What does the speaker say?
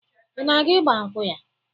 Ị na-aga ịgbankwụ ya?